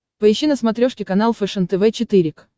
поищи на смотрешке канал фэшен тв четыре к